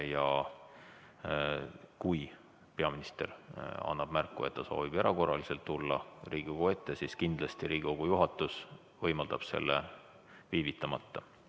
Ja kui peaminister annab märku, et ta soovib erakorraliselt tulla Riigikogu ette, siis kindlasti Riigikogu juhatus võimaldab selle viivitamata.